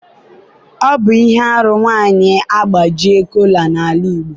ọ bụ ihe arụ nwanyị agbaji kola n'ala Igbo.